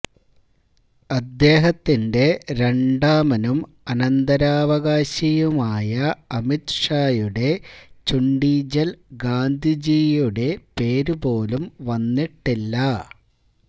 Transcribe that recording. അദ്ദേഹത്തിെൻറ രണ്ടാമനും അനന്തരാവകാശിയുമായ അമിത്ഷായുടെ ചുണ്ടിജൽ ഗാന്ധിജിയുടെ പേര് പോലും വന്നിട്ടില്ല